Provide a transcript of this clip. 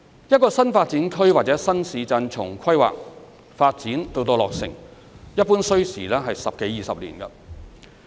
一個新發展區或新市鎮從規劃、發展到落成，一般需時十多二十年。